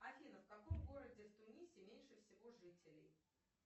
афина в каком городе в тунисе меньше всего жителей